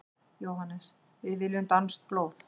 JÓHANNES: Við viljum danskt blóð!